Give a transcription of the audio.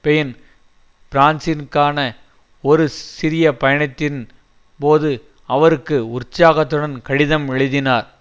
pain பிரான்சிற்கான ஒரு சிறிய பயணத்தின் போது அவருக்கு உற்சாகத்துடன் கடிதம் எழுதினார்